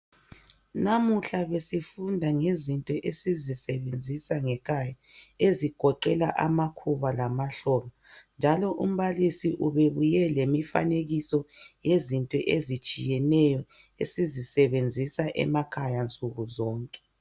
namuhla besifunda ngezinto esizisebenzisa ngekhaya ezigowela amakhuba lamahloka njalo umbalisi ubebuye lemifanekiso yezinto ezitshiyeneyo esizisebenzisa emakhaya nsuku zonke